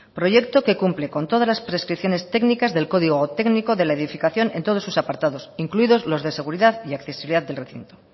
proyecto que cumple con todas las prescripciones técnicas del código técnico de la edificación en todos sus apartados incluidos los de seguridad y accesibilidad del recinto